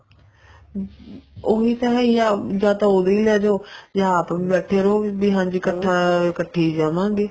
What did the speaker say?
ਹਮ ਉਹੀ ਤਾਂ ਹੈ ਈ ਆ ਜਾਂ ਤਾਂ ਉਦੋਂ ਹੀ ਲੈਜੋ ਜਾ ਆਪ ਵੀ ਬੈਠੇ ਰਹੋ ਵੀ ਹਾਂਜੀ ਇੱਕਠਾ ਇੱਕਠੇ ਜੀ ਜਾਵਾਗੇ